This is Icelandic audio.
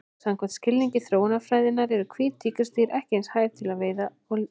Samkvæmt skilningi þróunarfræðinnar eru hvít tígrisdýr ekki eins hæf til veiða og lífs.